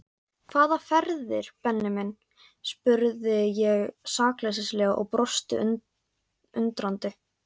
Hvaða ferðir Benni minn? spurði ég sakleysislega og brosti undrandi.